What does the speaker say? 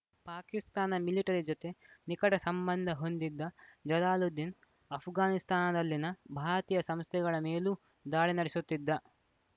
Pakistan military ಜತೆ ನಿಕಟ ಸಂಬಂಧ ಹೊಂದಿದ್ದ ಜಲಾಲುದ್ದೀನ್‌ ಆಷ್ಘಾನಿಸ್ತಾನದಲ್ಲಿನ ಭಾರತೀಯ ಸಂಸ್ಥೆಗಳ ಮೇಲೂ ದಾಳಿ ನಡೆಸುತ್ತಿದ್ದ